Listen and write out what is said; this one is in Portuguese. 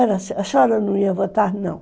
A senhora não ia votar, não.